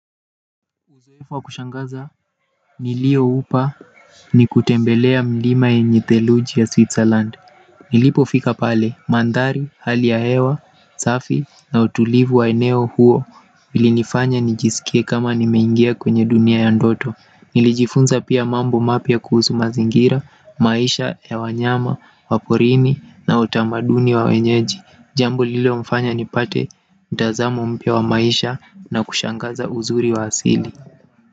Uzoefu wa kushangaza nilioupa ni kutembelea milima yenye theluji ya Switzerland. Nilipofika pale maandhari hali ya hewa safi na utulivu wa eneo huo. Vili nifanya nijisikie kama nimeingia kwenye dunia ya ndoto nilijifunza pia mambo mapya kuhusu mazingira, maisha ya wanyama, wa porini na utamaduni wa wenyeji jambo lilo mfanya ni pate mtazamo mpya wa maisha na kushangaza uzuri wa asili.